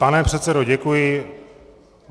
Pane předsedo, děkuji.